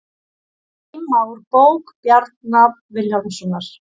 Geyma úr bók Bjarna Vilhjálmssonar